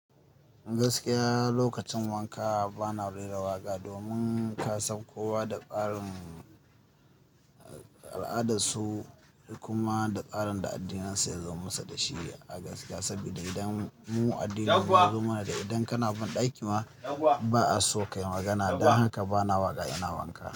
Gaskiya lokacin wanka bana rera waƙa domin kasan kowa da tsarin al'adarsu kuma da tsarin da addinin su yazo musu da shi a gaskiya. Saboda idan mu addininmu yazo mana da idan kana banɗaki ma ba a so kayi magana. Don haka bana waƙa ina wanka.